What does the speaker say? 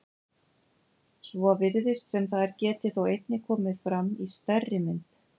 Svo virðist sem þær geti þó einnig komið fram í stærri mynd.